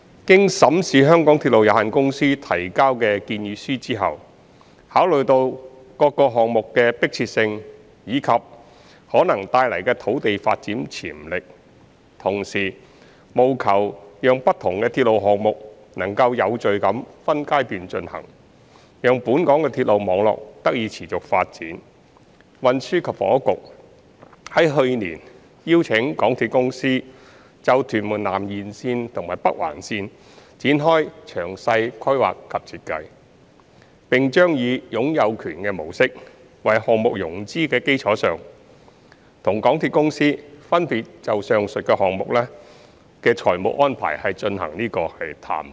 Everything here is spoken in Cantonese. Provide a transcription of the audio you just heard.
經審視香港鐵路有限公司提交的建議書後，考慮到各項目的迫切性及可能帶來的土地發展潛力，同時務求讓不同的鐵路項目能夠有序地分階段進行，讓本港的鐵路網絡得以持續發展，運輸及房屋局在去年邀請港鐵公司就屯門南延綫及北環綫展開詳細規劃及設計，並將以"擁有權"模式為項目融資的基礎上，與港鐵公司分別就上述項目的財務安排進行談判。